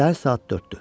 Səhər saat 4-dür.